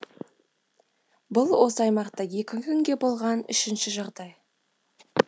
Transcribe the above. бұл осы аймақта екі күнде болған үшінші жағдай